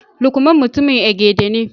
lukman mutumin Egede ne